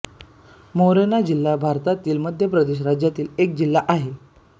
मोरेना जिल्हा भारतातील मध्य प्रदेश राज्यातील एक जिल्हा आहे